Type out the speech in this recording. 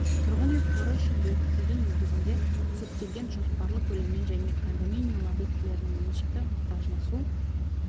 тұрғын үй қоры үшін бекітілген негізінде есептелген жоспарлы көлеммен және кондоминиум объектілерінің меншікті мұқтажына су